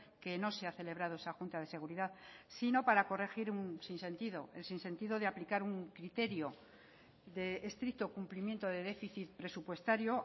que no se ha celebrado esa junta de seguridad sino para corregir un sinsentido el sinsentido de aplicar un criterio de estricto cumplimiento de déficit presupuestario